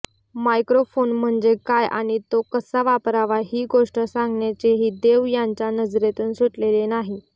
microphone म्हणजे काय आणि तो कसा वापरावा ही गोष्ट सांगण्याचेही देव यांच्या नजरेतून सुटलेले नाही